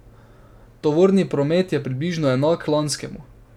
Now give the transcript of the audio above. Tovorni promet je približno enak lanskemu.